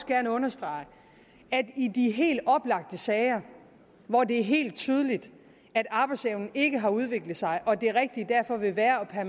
gerne understrege at i de helt oplagte sager hvor det er helt tydeligt at arbejdsevnen ikke har udviklet sig og det rigtige derfor vil være at